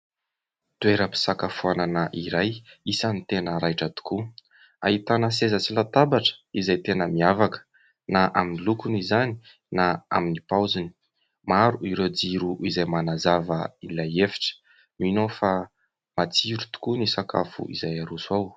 Toeram-pisakafoanana iray isany tena raitra tokoa. Ahitana seza sy latabatra izay tena miavaka na amin'ny lokony izany na amin'ny paoziny, maro ireo jiro izay manazava ilay efitra mino aho fa matsiro tokoa ny sakafo izay aroso ao.